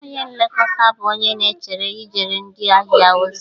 Onye nlekọta bụ onye na-echere ijere ndị ahịa ozi.